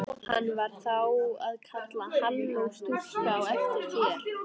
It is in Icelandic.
Hann var þá að kalla halló stúlka á eftir þér?